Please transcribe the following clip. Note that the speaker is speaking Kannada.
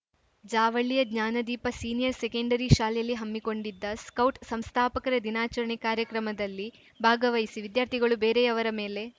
ಜಾವಳ್ಳಿಯ ಜ್ಞಾನದೀಪ ಸೀನಿಯರ್‌ ಸೆಕೆಂಡರಿ ಶಾಲೆಯಲ್ಲಿ ಹಮ್ಮಿಕೊಂಡಿದ್ದ ಸ್ಕೌಟ್ ಸಂಸ್ಥಾಪಕರ ದಿನಾಚರಣೆ ಕಾರ್ಯಕ್ರಮದಲ್ಲಿ ಭಾಗವಹಿಸಿ ವಿದ್ಯಾರ್ಥಿಗಳು ಬೇರೆಯವರ ಮೇಲೆ